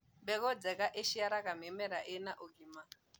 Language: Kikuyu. mbegũ njega huciara mĩmera ina ũgima